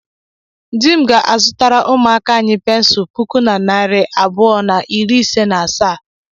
Dị m ga-azụtara ụmụaka anyị pensụl puku na narị abụọ na iri isii na asaa